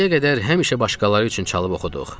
İndiyə qədər həmişə başqaları üçün çalıb oxuduq.